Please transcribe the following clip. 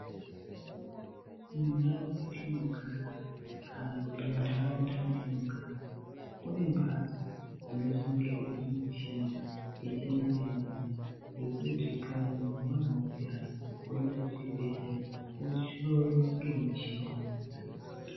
Mundau mwetinogara kana kuti muntaraunda mwetinogara kune mbatso dzinochengeterwe michina yechimanje manje yekuti kana muntu wanzwa mukhuhlani woenda kuchibhedhlera wohloiwa ngemichina idzodzo.